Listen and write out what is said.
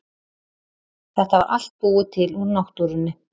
Þetta var allt búið til úr náttúrunni.